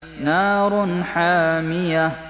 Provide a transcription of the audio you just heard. نَارٌ حَامِيَةٌ